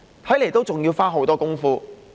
看來還要花很多工夫。